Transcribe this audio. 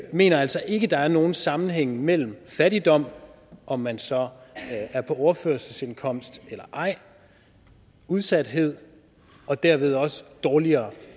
mener altså ikke at der er nogen sammenhængen mellem fattigdom om man så er på overførselsindkomst eller ej udsathed og derved også dårligere